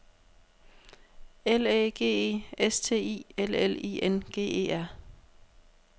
L Æ G E S T I L L I N G E R